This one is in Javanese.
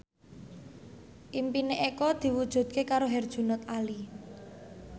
impine Eko diwujudke karo Herjunot Ali